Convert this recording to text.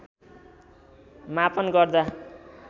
मापन गर्दा